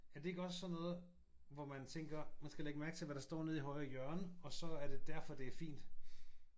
Er det ikke sådan noget hvor man tænker man skal lægge mærke til hvad der står nede i højre hjørne og så er det derfor det er fint?